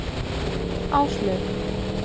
Áslaug